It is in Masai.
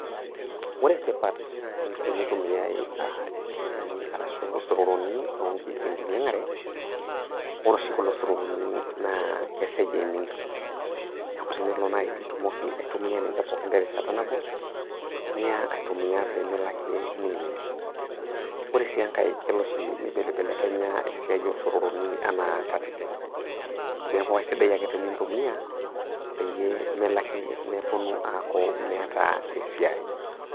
Ore tipat teneitumiai inchilingini arashu isororoni tenkinyang'gare, ore oshi kulo sororoni keseja eimin, ore naaji tenelo nitumoki aitumia ninche peeikin terishata nabo, niyaa aitumia ninye pee melaki eimin. Ore sii enkai ,elo neibelebelekenya esiai o sororoni anaa katitin, neaku ai sidai ake tenintumiyaa, peyie melaki mepuonu aaku etaa esiai.